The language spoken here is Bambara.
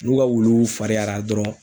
N'u ka wuluw fariyara dɔrɔn